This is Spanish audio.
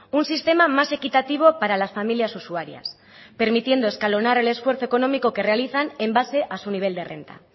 un sistema más equitativo para las familias usuarias permitiendo escalonar el esfuerzo económico que realizan en base a su nivel de renta